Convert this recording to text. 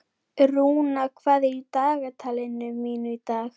Rúna, hvað er í dagatalinu mínu í dag?